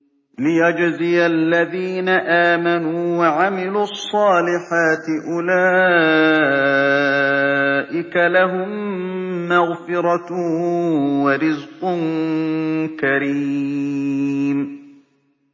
لِّيَجْزِيَ الَّذِينَ آمَنُوا وَعَمِلُوا الصَّالِحَاتِ ۚ أُولَٰئِكَ لَهُم مَّغْفِرَةٌ وَرِزْقٌ كَرِيمٌ